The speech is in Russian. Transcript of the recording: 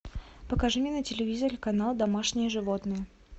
покажи мне на телевизоре канал домашние животные